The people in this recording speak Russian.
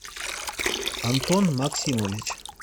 антон максимович